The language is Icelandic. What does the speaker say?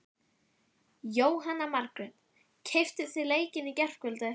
Jóhanna Margrét: Keyptuð þið leikinn í gærkvöldi?